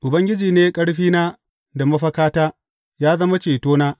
Ubangiji ne ƙarfina da mafakata, ya zama cetona.